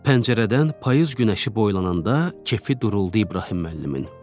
Pəncərədən payız günəşi boylananda kefi duruldu İbrahim müəllimin.